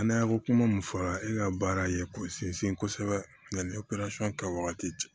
A n'a ko kuma mun fɔra e ka baara ye k'o sinsin kosɛbɛ yani kɛ wagati cɛ